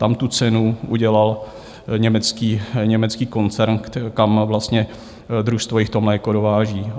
Tam tu cenu udělal německý koncern, kam vlastně družstvo to mléko dováží.